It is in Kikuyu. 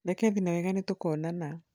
reke thiĩ nawega ,nĩtũkuonana